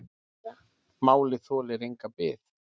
Málið þolir enga bið.